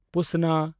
ᱯᱩᱥᱱᱟ